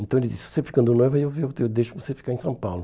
Então, ele disse, se você ficar no Noiva, eu eu eu deixo você ficar em São Paulo.